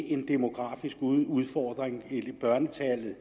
en demografisk udfordring børnetallet